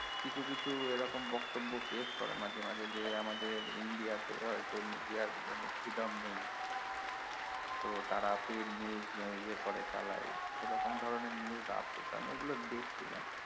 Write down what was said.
কিছু কিছু এ রকম বক্তব্য পেশ করে মাঝে মাঝে যে আমাদের ইন্ডিয়াতে হয়তো media freedom নেই তো তারা paid news ইয়ে করে চালাই এই রকম ধরনের news আছে এই গুলো দেখছিলাম